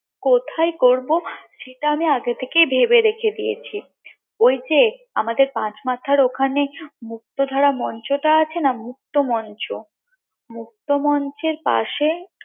কোথায় করবো সেটা আমি আগে থেকেই ভেবে রেখে দিয়েছি ঐ যে আমাদের পাঁচ মাথার ওখানে মুক্তধারা মঞ্চ টা আছে না মুক্ত মঞ্চ মুক্ত মঞ্চের পাশে